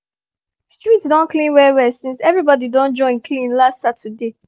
street don clean well well since everybody don join clean last saturday